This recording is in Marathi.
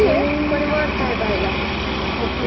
ओके म्हणजे साधारण दोनशे! आहेत समजा.